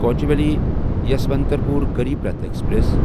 Kochuveli Yesvantpur Garib Rath express